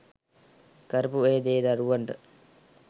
කරපු ඒ දේ දරුවන්ට